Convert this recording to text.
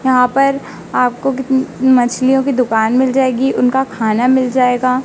यहां पर आपको कित मछलियों की दुकान मिल जायेगी उनका खाना मिल जायेगा।